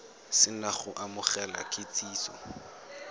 se na go amogela kitsiso